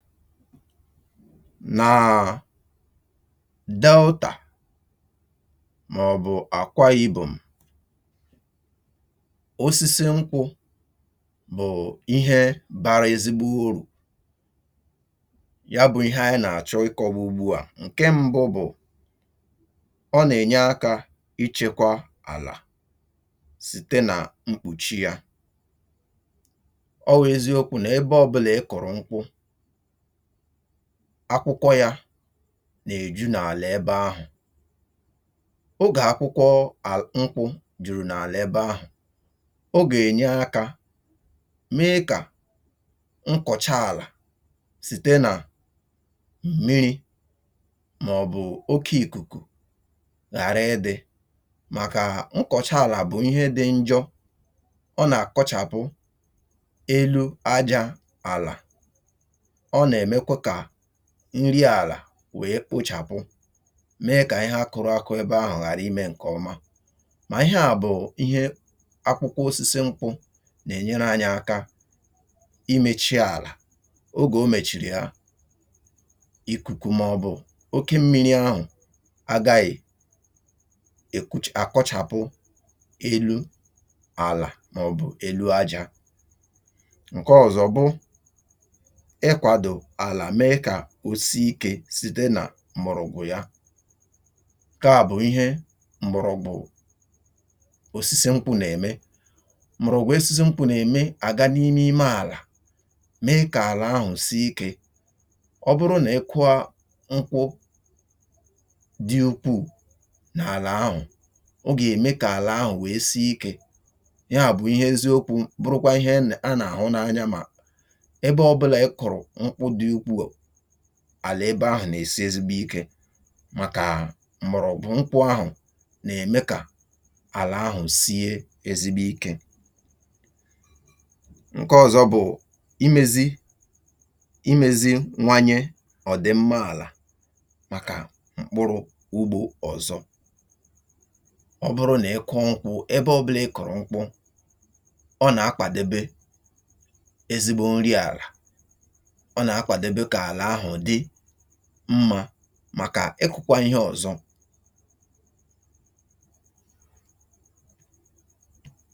Naa Deltà màọ̀bụ̀ Akwà Ibom, osisi nkwụ̇ bụ̀ ihe bara ezigbo urù, ya bụ̇ ihe anyị nà-àchọ ikọ̇wa ugbu à. Nke mbụ bụ̀, ọ nà-ènye akȧ ichėkwȧ àlà site nà mkpùchi yȧ. Ọ wụ̀ eziokwu nebe ọbụlà ị kụrụ nkwụ̇, akwụkwọ yȧ n’èju n’àlà ebe ahụ̀. Ogè akwụkwọ à nkwụ jùrù n’àlà ebe ahụ̀, o gènyè akȧ mee kà nkọ̀cha àlà sìte nà m̀miri̇ mà ọ̀ bụ̀ oke ìkùkù ghàra ịdị̇ màkà nkọ̀cha àlà bụ̀ ihe dị njọ̇, ọ nà-àkọchàpụ elu ajȧ àlà, ọ na-emekwa ka nri àlà wèe kpochàpụ, mee kà ihe akụrụakụ èbe ahụ̀ ghàra ime ǹkè ọma. Mà ihe à bụ̀ ihe akwụkwọ osisi nkwụ nà enyere anyị aka imėchi àlà. Ogè o mèchìrì ya, ikùkù mà ọ̀ bụ̀ oke mmi̇ri ahụ̀ agȧghị̀ èkuchi, àkọchàpụ elu àlà mà ọ̀ bụ̀ elu ajȧ. Nke ọ̀zọ bụ ịgwado ala mee kosiike site nà mgbọ̀rọgwụ ya. Nkaà bụ̀ ihe mgbọrọ̀gwụ̀ osisi nkwụ ̇ nà-ème. Mgbọrọ̀gwụ̀ osisi nkwụ nà-ème, àga n’ime ime àlà mee kà àlà ahụ̀ si ikė. Ọ bụrụ nà ị kụọ nkwụ dị ukwuu n’àlà ahụ̀, ọ gà-ème kà àlà ahụ̀ wèe siikė. Yaà bụ̀ ihe eziokwu̇ bụrụkwa ihe a nà-àhụ n’anya nà ebe ọ bụla ị kụrụ nkwụ dị ukwuu, àlà ebe ahụ̀ nà-èsi ezigbo ikė màkà mgbọ̀rọ̀gwụ nkwụ̇ ahụ̀ nà-ème kà àlà ahụ̀ sie ezigbo ikė. Nke ọzọ bụ̀ imėzi imėzi nwanye ọ̀dị mma àlà màkà mkpụrụ ugbȯ ọ̀zọ. Ọ bụrụ nà ị kụọ nkwụ̇, ebe ọ̀bụlà ị kụ̀rụ̀ nkwụ, ọ nà-akpàdebe ezigbo nriàlà, ọ na-akwadebe ka ala ahụ dị mma màkà ịkụ̇kwȧ ihe ọ̀zọ.